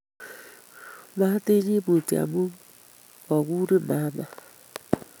Matinyi Mutyo amu mi koguriin mama